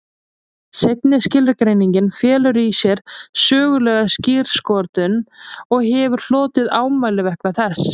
Seinni skilgreiningin felur í sér sögulega skírskotun og hefur hlotið ámæli vegna þess.